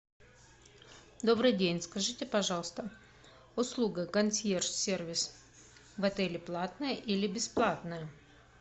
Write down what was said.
добрый день скажите пожалуйста услуга консьерж сервис в отеле платная или бесплатная